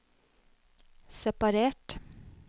separert